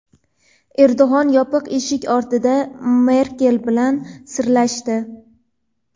Erdo‘g‘an yopiq eshik ortida Merkel bilan "sirlashdi".